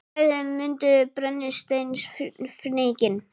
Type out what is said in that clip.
Bæði mundu brennisteinsfnykinn.